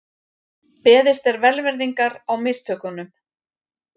Beðist er velvirðingar á mistökunum